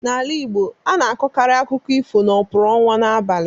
N'ala Igbo, a na-akọkarị akụkọ ifo n'okpuru ọnwa n'abalị.